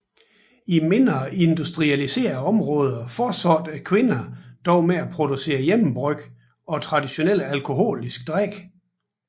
I mindre industrialiserede områder fortsatte kvinderne dog med at producere hjemmebryg og traditionelle alkoholiske drikke